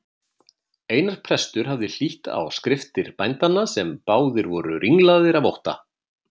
Einar prestur hafði hlýtt á skriftir bændanna sem báðir voru ringlaðir af ótta.